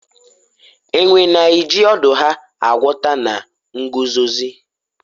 enwe na-eji ọdụ ha aghọta na nguzozi